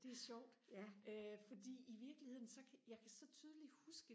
det er sjovt øh fordi i virkeligheden så kan jeg kan så tydeligt huske